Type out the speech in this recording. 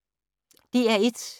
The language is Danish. DR1